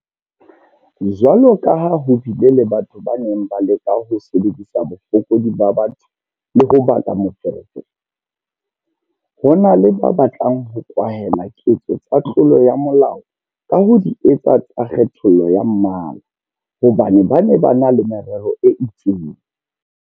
Jwalo ka ha ho bile le batho ba neng ba leka ho sebedisa bofokodi ba batho le ho baka meferefere, ho na le ba batlang ho kwahela ketso tsa tlolo ya molao ka ho di etsa tsa kgethollo ya mmala hobane ba na le merero e itseng.